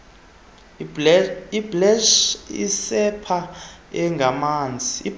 ibleach isepha engamanzi